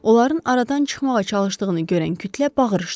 Onların aradan çıxmağa çalışdığını görən kütlə bağırışdı.